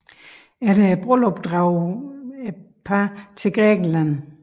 Efter brylluppet drog parret til Grækenland